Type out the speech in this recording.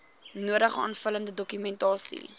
nodige aanvullende dokumentasie